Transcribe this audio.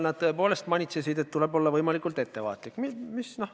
Nad tõepoolest manitsesid, et tuleb olla võimalikult ettevaatlik.